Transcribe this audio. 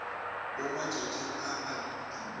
mo matšatšing a a tulo